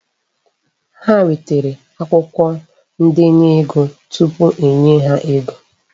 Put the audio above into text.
Ha nwetere akwụkwọ ndenye ego tupu e nye ha ego.